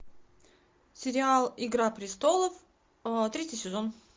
сериал игра престолов третий сезон